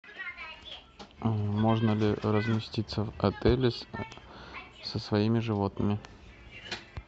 можно ли разместиться в отеле со своими животными